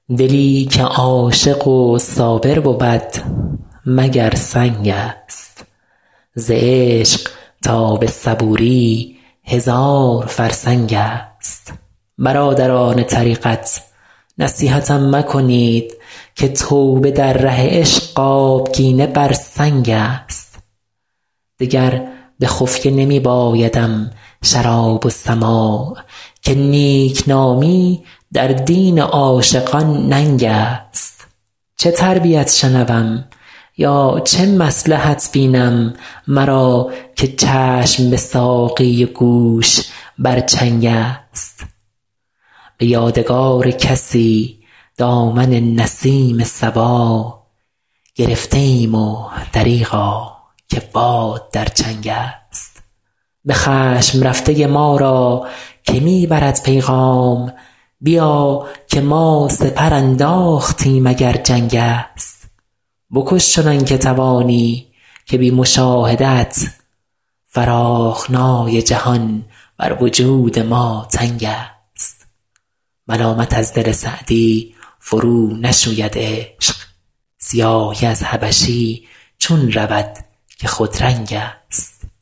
دلی که عاشق و صابر بود مگر سنگ است ز عشق تا به صبوری هزار فرسنگ است برادران طریقت نصیحتم مکنید که توبه در ره عشق آبگینه بر سنگ است دگر به خفیه نمی بایدم شراب و سماع که نیکنامی در دین عاشقان ننگ است چه تربیت شنوم یا چه مصلحت بینم مرا که چشم به ساقی و گوش بر چنگ است به یادگار کسی دامن نسیم صبا گرفته ایم و دریغا که باد در چنگ است به خشم رفته ما را که می برد پیغام بیا که ما سپر انداختیم اگر جنگ است بکش چنان که توانی که بی مشاهده ات فراخنای جهان بر وجود ما تنگ است ملامت از دل سعدی فرونشوید عشق سیاهی از حبشی چون رود که خودرنگ است